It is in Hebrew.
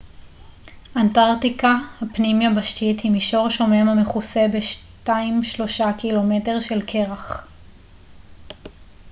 "אנטרקטיקה הפנים-יבשתית היא מישור שומם המכוסה ב-2-3 ק""מ של קרח.